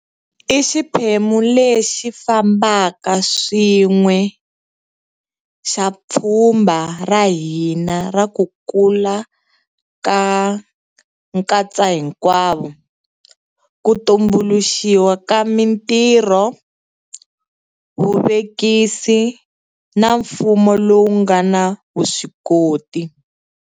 I xiphemu lexi fambaka swin'we xa pfhumba ra hina ra ku kula ka nkatsahinkwavo, ku tumbuluxiwa ka mitirho, vuvekisi na mfumo lowu nga na vuswikoti.